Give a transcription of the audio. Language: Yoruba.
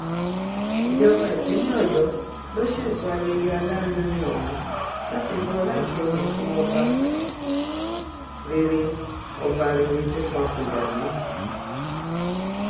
ìjọba ìpínlẹ ọyọ ló ṣètò ayẹyẹ alárinrin ọhún láti bu ọlá ìkẹyìn fún ọba rere ọba rere tó papòdà náà